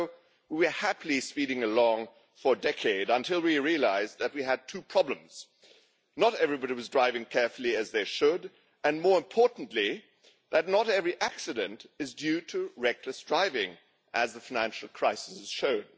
So we were happily speeding along for a decade until we realised that we had two problems not everybody was driving as carefully as they should, and, more importantly, not every accident is due to reckless driving, as the financial crisis has shown.